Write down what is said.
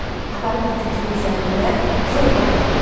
Aparıb bir kütüyün üzərində zorla oturtddu.